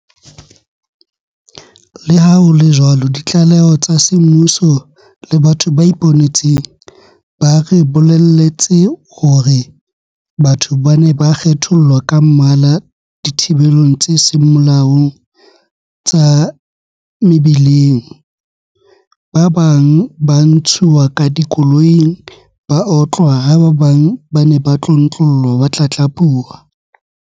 Leha ho le jwalo ditlaleho tsa semmuso le batho ba ipone tseng ba re bolelletse hore batho ba ne ba kgethollwa ka mmala dithibelong tse seng molaong tsa mebi leng, ba bang ba ntshuwa ka dikoloing ba otlwa ha ba bang ba ne ba tlontlollwa ba tlatlapuwa.